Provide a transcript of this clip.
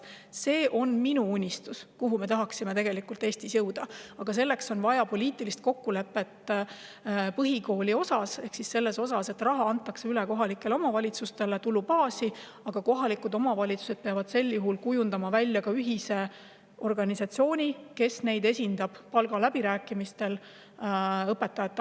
See on minu unistus, milleni me Eestis tahaksime jõuda, aga selleks on vaja põhikooli osas poliitilist kokkulepet, et raha antakse üle kohalike omavalitsuste tulubaasi, ja sel juhul peavad kohalikud omavalitsused kujundama ühise organisatsiooni, mis neid õpetajate ametiühingutega palgaläbirääkimistel esindaks.